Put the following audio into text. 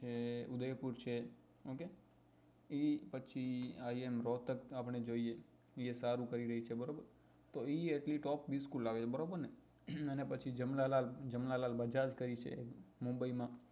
જે ઉદયપુર છે okay એ પછી iim ગૌતર આપને જોઈએ એ સારું કરી રહી છે બરોબર તો એ એટલી top bills school લાવી બરાબર ને પછી જમના લાલ જમના લાલ બજાજ કઈ છે mumbai માં